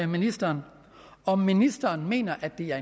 ministeren om ministeren mener at det er